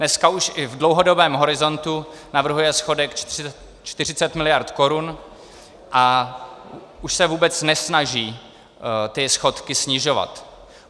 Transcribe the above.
Dneska už i v dlouhodobém horizontu navrhuje schodek 40 miliard korun a už se vůbec nesnaží ty schodky snižovat.